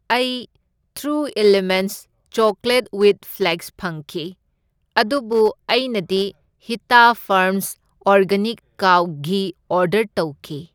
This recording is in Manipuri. ꯑꯩ true elements chocolate with flax ꯐꯪꯈꯤ ꯑꯗꯨꯕꯨ ꯑꯩꯅꯗꯤ Hita farms organic cow ghee order ꯇꯧꯈꯤ꯫